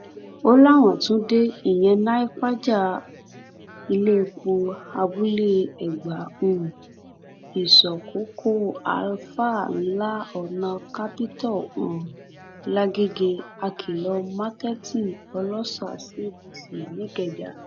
ó láwọn tún dé iléepo abúlé ẹgbà um ìsọkòkò alfa ńlá ọnà capitol um lágége àkìlọ marketing ọlọ́sà cdc nìkẹjà